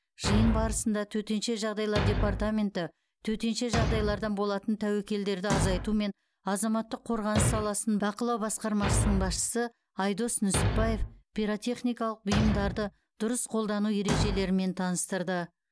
жиын барысында төтенше жағдайлар департаменті төтенше жағдайлардан болатын тәуекелдерді азайту мен азаматтық қорғаныс саласын бақылау басқармасының басшысы айдос нүсіпбаев пиротехникалық бұйымдарды дұрыс қолдану ережелерімен таныстырды